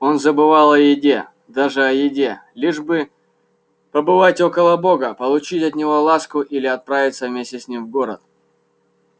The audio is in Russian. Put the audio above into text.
он забывал о еде даже о еде лишь бы побывать около бога получить от него ласку или отправиться вместе с ним в город